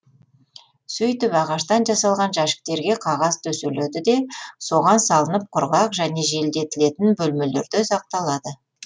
сөйтіп ағаштан жасалған жәшіктерге қағаз төселеді де соған салынып құрғақ және желдетілетін бөлмелерде сақталады